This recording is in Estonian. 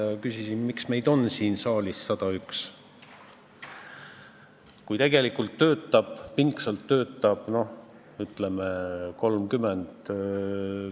Ja küsisin, miks meid on siin saalis 101, kui tegelikult pingsalt töötab, noh, ütleme, 30.